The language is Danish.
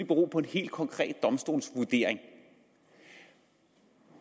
bero på en helt konkret domstolsvurdering